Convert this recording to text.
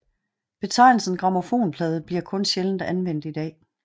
Betegnelsen grammofonplade bliver kun sjældent anvendt i dag